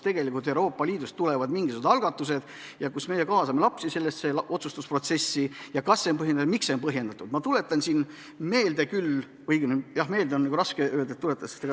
Euroopa Liidust tulevad mingisugused algatused, kas on ikkagi põhjendatud, et me kaasame lapsi sellesse otsustusprotsessi?